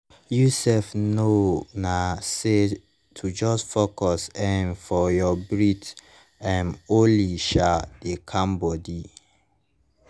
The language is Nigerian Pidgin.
you sef know na say to just focus um for your breathe um only um dey calm body